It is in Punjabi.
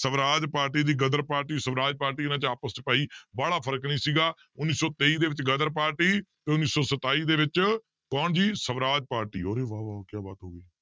ਸਵਰਾਜ ਪਾਰਟੀ ਦੀ ਗਦਰ ਪਾਰਟੀ ਸਵਰਾਜ ਪਾਰਟੀ ਇਹਨਾਂ ਆਪਸ 'ਚ ਭਾਈ ਵਾਲਾ ਫ਼ਰਕ ਨੀ ਸੀਗਾ ਉੱਨੀ ਸੌ ਤੇਈ ਦੇ ਵਿੱਚ ਗਦਰ ਪਾਰਟੀ ਤੇ ਉੱਨੀ ਸੌ ਸਤਾਈ ਦੇ ਵਿੱਚ ਕੌਣ ਜੀ ਸਵਰਾਜ ਪਾਰਟੀ ਅਰੇ ਕਿਆ ਬਾਤ ਹੋ ਗਈ